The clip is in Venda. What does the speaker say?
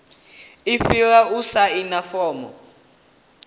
i fhira u saina fomo